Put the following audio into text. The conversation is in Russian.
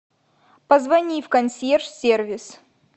позвони в консьерж сервис